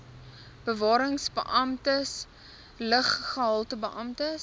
bewarings beamptes luggehaltebeamptes